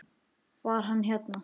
Var hann hérna?